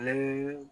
Ale